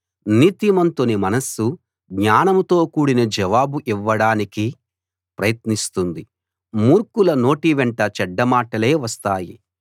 నీతిమంతుని మనస్సు జ్ఞానంతో కూడిన జవాబు ఇవ్వడానికి ప్రయత్నిస్తుంది మూర్ఖుల నోటి వెంట చెడ్డ మాటలే వస్తాయి